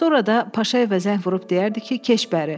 Sonra da Paşayevə zəng vurub deyərdi ki, keç bəri.